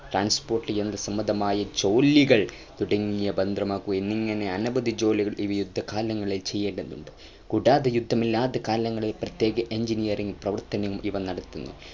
transport യന്ത്രസംബന്ധമായ ജോലികൾ തുടങ്ങിയ ഭദ്രമാകുക എന്നിങ്ങനെ അനവധി ജോലികൾ ഇവർ യുദ്ധകാലങ്ങളിൽ ചെയ്യേണ്ടതുണ്ട് കൂടാതെ യുദ്ധമില്ലാത്ത കാലങ്ങളിൽ പ്രത്യേക engineering പ്രവത്തനങ്ങൾ ഇവ നടത്തുന്നു